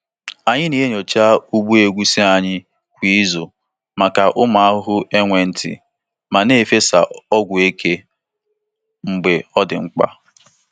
Anyị na-enyocha ugbo egusi anyị kwa izu maka ụmụ ahụhụ enwe nti ma na-efesa ọgwụ eke mgbe ọ dị mkpa.